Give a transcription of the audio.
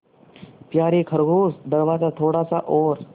यारे खरगोश दरवाज़ा थोड़ा सा और